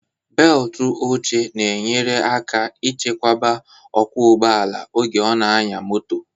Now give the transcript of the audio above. Beltu oche na enyere aka ịchekwaba okwu ụgbọala oge ọ na anya moto